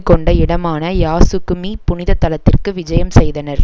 கொண்ட இடமான யாசுக்குமி புனிதத்தலத்திற்கு விஜயம் செய்தனர்